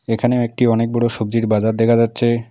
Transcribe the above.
এখানে একটি অনেক বড়ো সবজির বাজার দেখা যাচ্ছে।